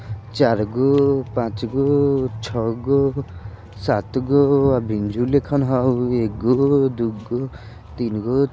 चारगो पाँचगो छःगो सातगो आ बैंजो लेखन हउ एगो दुगो तीनगो --